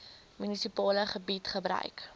munisipale gebied gebruik